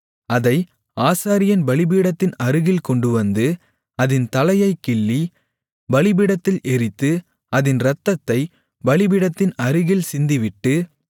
அதை ஆசாரியன் பலிபீடத்தின் அருகில் கொண்டுவந்து அதின் தலையைக் கிள்ளி பலிபீடத்தில் எரித்து அதின் இரத்தத்தைப் பலிபீடத்தின் அருகில் சிந்தவிட்டு